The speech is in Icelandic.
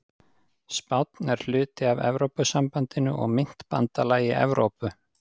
Spánn er hluti af Evrópusambandinu og myntbandalagi Evrópu.